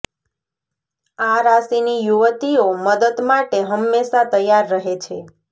આ રાશિની યુવતીઓ મદદ માટે હંમેશા તૈયાર રહે છે